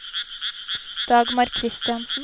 Dagmar Christiansen